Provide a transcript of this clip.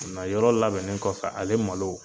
yɔrɔ labɛnnen kɔfɛ ale malo.